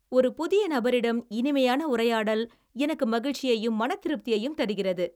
ஒரு புதிய நபரிடம் இனிமையான உரையாடல் எனக்கு மகிழ்ச்சியையும், மனதிருப்தியையும் தருகிறது.